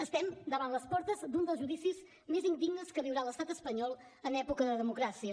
estem davant les portes d’un dels judicis més indignes que viurà l’estat espanyol en època de democràcia